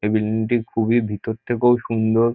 এই বিল্ডিং -টি খুবই ভিতর থেকেও সুন্দর।